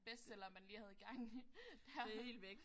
Bestseller man lige havde gang i der